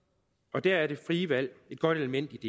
og der er det frie valg et godt element